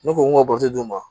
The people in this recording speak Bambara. Ne ko n ka d'u ma